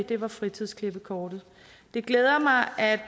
det var fritidsklippekortet det glæder mig at